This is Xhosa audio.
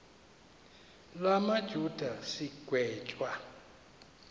la majuda sigwetywa